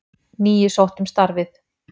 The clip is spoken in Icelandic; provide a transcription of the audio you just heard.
Níu sóttu um starfið.